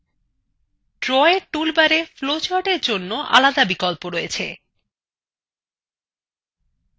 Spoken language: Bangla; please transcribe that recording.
drawএর toolbara flowcharts এর জন্য আলাদা বিকল্প আছে